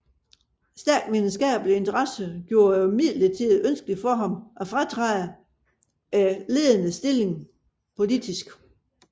Stærke videnskabelige interesser gjorde det imidlertid ønskeligt for ham at fratræde denne ledende politiske stilling